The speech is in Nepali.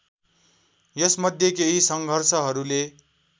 यसमध्ये केही सङ्घर्षहरूले